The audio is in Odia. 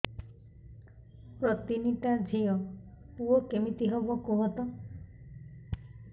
ମୋର ତିନିଟା ଝିଅ ପୁଅ କେମିତି ହବ କୁହତ